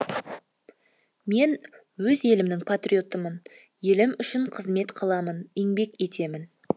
мен өз елімнің патриотымын елім үшін қызмет қыламын еңбек етемін